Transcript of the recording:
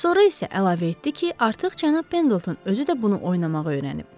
Sonra isə əlavə etdi ki, artıq cənab Pendleton özü də bunu oynamağı öyrənib.